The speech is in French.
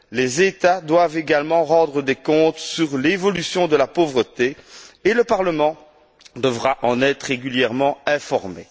Les États doivent également rendre des comptes sur l'évolution de la pauvreté et le Parlement devra en être régulièrement informé.